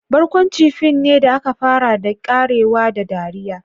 Barkwanci fim ne da aka fara da ƙarewa da dariya.